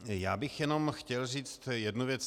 Já bych jenom chtěl říci jednu věc.